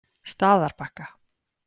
Staðarbakka